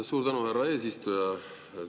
Suur tänu, härra eesistuja!